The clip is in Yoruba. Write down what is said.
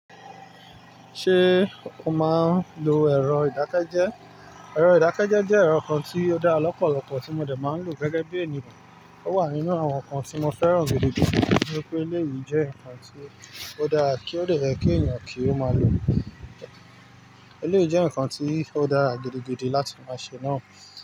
Ṣé o máa ń lo ẹ̀rọ ìdákẹ́jẹ́? Ẹ̀rọ ìdákẹ́jẹ́ jẹ́ ẹ̀rọ kan tí ó dára lọ́pọ̀lọpọ̀ tí mo dẹ̀ máa ń lò gẹ́gẹ́ bí ènìyàn. Ó wà nínú àwọn nǹkan tí mo fẹ́ràn gidigidi nítorí pé eléyìí jẹ́ ǹkan tí ó dára tí ó dẹ̀ ye kí ènìyàn kí ó máa lò. Eléyìí jẹ́ ǹkan tí ó dára gidigidi láti máa ṣe náà.